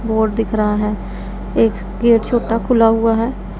Board दिख रहा है एक गेट छोटा खुला हुआ है।